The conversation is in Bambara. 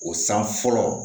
O san fɔlɔ